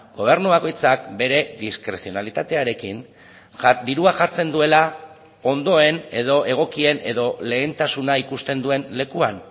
gobernu bakoitzak bere diskrezionalitatearekin dirua jartzen duela ondoen edo egokien edo lehentasuna ikusten duen lekuan